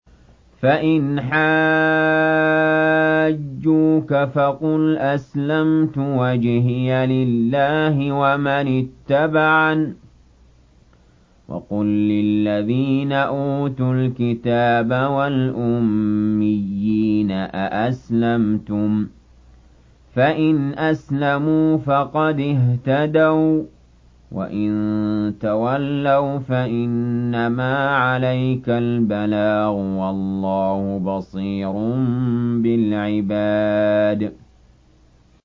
فَإِنْ حَاجُّوكَ فَقُلْ أَسْلَمْتُ وَجْهِيَ لِلَّهِ وَمَنِ اتَّبَعَنِ ۗ وَقُل لِّلَّذِينَ أُوتُوا الْكِتَابَ وَالْأُمِّيِّينَ أَأَسْلَمْتُمْ ۚ فَإِنْ أَسْلَمُوا فَقَدِ اهْتَدَوا ۖ وَّإِن تَوَلَّوْا فَإِنَّمَا عَلَيْكَ الْبَلَاغُ ۗ وَاللَّهُ بَصِيرٌ بِالْعِبَادِ